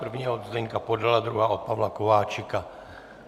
První od Zdeňka Podala, druhá od Pavla Kováčika.